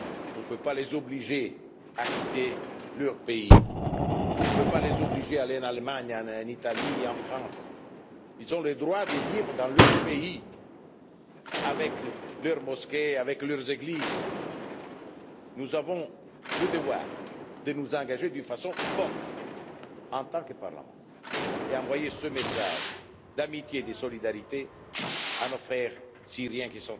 On ne peut pas les obliger à quitter leur pays, on ne peut pas les obliger à aller en Allemagne, en Italie ou en France ils ont le droit de vivre dans leur pays, avec leurs mosquées, leurs églises. Nous avons le devoir de nous engager d'une façon forte en tant que Parlement et envoyer ce message d'amitié et de solidarité à nos frères syriens